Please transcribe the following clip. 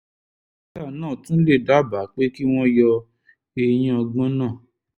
dókítà náà tún lè dábàá pé kí wọ́n yọ eyín ọgbọ́n náà